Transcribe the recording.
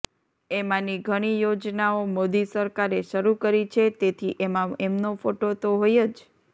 એમાંની ઘણી યોજનાઓ મોદી સરકારે શરૂ કરી છે તેથી એમાં એમનો ફોટો તો હોય જ